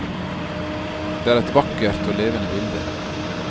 Det er et vakkert og levende bilde.